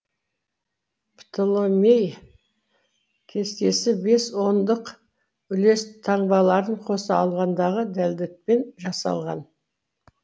птолемей кестесі бес ондық үлес таңбаларын қоса алғандағы дәлдікпен жасалған